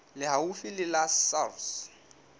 le haufi le la sars